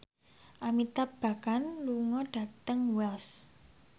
Amitabh Bachchan lunga dhateng Wells